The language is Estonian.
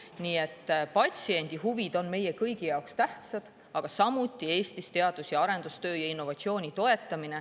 Nii et patsiendi huvid on meie kõigi jaoks tähtsad, aga samuti Eestis teadus- ja arendustöö ja innovatsiooni toetamine.